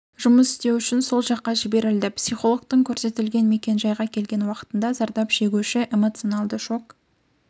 жұмыс істеу үшін сол жаққа жіберілді психологтың көрсетілген мекен-жайға келген уақытында зардап шегуші эмоционалді шок